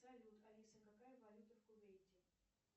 салют алиса какая валюта в кувейте